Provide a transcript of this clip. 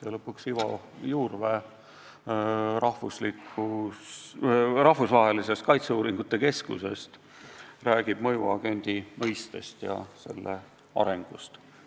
Ja lõpuks, Ivo Juurvee Rahvusvahelisest Kaitseuuringute Keskusest räägib mõjuagendi mõistest ja selle arengust.